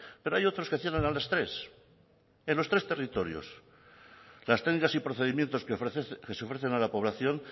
pero hay otros que cierran a las quince cero en los tres territorios las técnicas y procedimientos que se ofrecen a la población